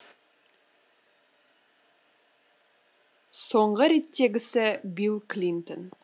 соңғы реттегісі билл клинтон